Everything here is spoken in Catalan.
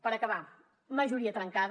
per acabar majoria trencada